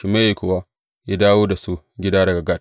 Shimeyi kuwa ya dawo da su gida daga Gat.